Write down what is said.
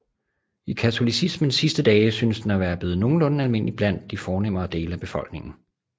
I katolicismens sidste dage synes den at være blevet nogenlunde almindelig blandt de fornemmere dele af befolkningen